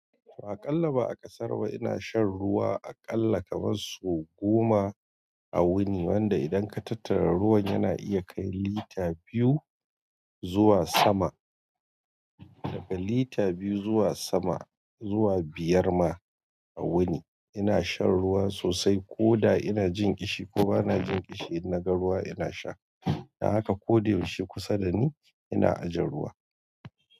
To aƙalla ba a ƙasar ba ina shan ruwa, aƙalla kamar su goma a wuni. Wanda idan ka tattara ruwan yana iya kai lita biyu zuwa sama, daga lita biyu zuwa sama zuwa biyar ma a wuni. Ina shan ruwa sosai ko da ina jin ƙishi ko ba na jin ƙishi, in na ga ruwa ina sha. Don haka ko da yaushe kusa da ni ina ajiye ruwa.